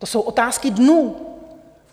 To jsou otázky dnů.